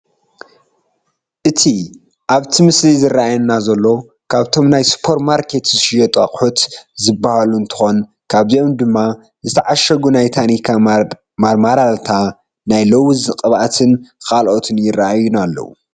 እቲ ኣብቲ ምስሊ ዝራኣየና ዘሎ ካብቶም ናይ ሱፐርማርኬት ዝሽየጡ ኣቕሑት ዝባሃሉ እንትኾኑ ካብዚኦም ድማ ዝተዓሸጉ ናይ ታኒካ ማርማላታ፣ ናይ ሎውዝ ቅብኣትን ካልኦትን ይረኣዩና ኣለው፡፡